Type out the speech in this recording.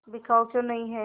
बिकाऊ क्यों नहीं है